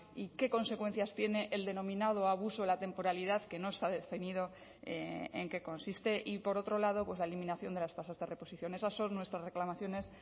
y qué consecuencias tiene el denominado abuso de la temporalidad que no está definido en qué consiste y por otro lado la eliminación de las tasas de reposición esas son nuestras reclamaciones